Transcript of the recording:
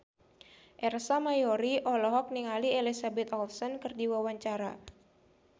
Ersa Mayori olohok ningali Elizabeth Olsen keur diwawancara